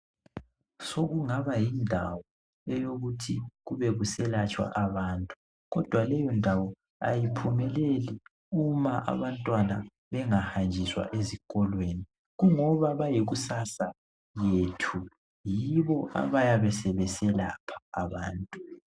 Sokungaba yindawo eyekuthi kubekuselatshwa abantu kodwa leyo ndawo ayiphumeleli uma abantwana bengahanjiswa ezikolweni. Kungoba bayikusasa yethu yibo abayabe sebeselapha abantu.